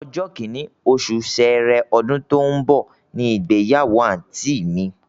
Ọjọ́ kìnní, osù sẹẹrẹ, ọdún tó ń bọ̀ ni ìgbáyàwó àǹtí mi